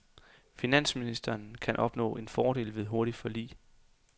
Finansministeren kan opnå fordel ved hurtigt forlig.